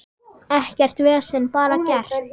Ekkert vesen, bara gert.